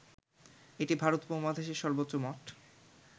এটি ভারত উপমহাদেশের সর্বোচ্চ মঠ